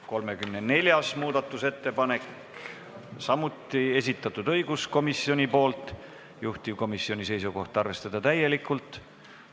34. muudatusettepaneku on samuti esitanud õiguskomisjon, juhtivkomisjoni seisukoht: arvestada seda täielikult.